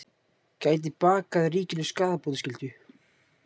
Gæti bakað ríkinu skaðabótaskyldu